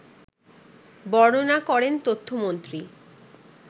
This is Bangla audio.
বর্ণনা করেন তথ্যমন্ত্রী